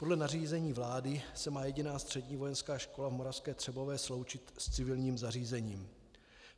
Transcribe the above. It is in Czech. Podle nařízení vlády se má jediná Střední vojenská škola v Moravské Třebové sloučit s civilním zařízením.